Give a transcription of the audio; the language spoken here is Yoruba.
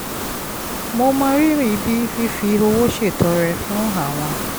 mo mọrírì bí fífi owó ṣètọrẹ fún àwọn